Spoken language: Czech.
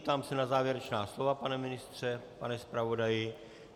Ptám se na závěrečná slova - pane ministře, pane zpravodaji?